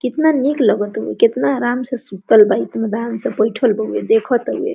कितना निक लग तो कितना आराम से सुत्तल बा इत्मीनान से बइठल बा देखे ता ।